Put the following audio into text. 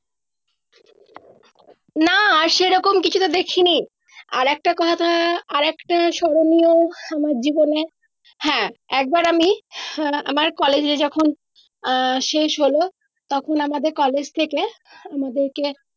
না আর সে রকম কিছুতো দেখি নি আর একটা কথা আরেকটা স্মরণীয় আমার জীবনে হ্যাঁ একবার আমি আহ আমার collage এ যখন আহ শেষ হলও তখন আমাদের collage থেকে আমাদেরকে